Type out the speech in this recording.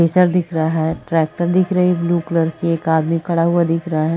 Acer दिख रहा दिख रहा है। ट्रैक्टर रही है ब्लू कलर की एक आदमी खड़ा हुआ दिख रहा है।